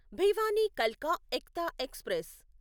భివానీ కల్కా ఎక్తా ఎక్స్ప్రెస్